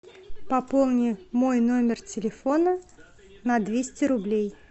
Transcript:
пополни мой номер телефона на двести рублей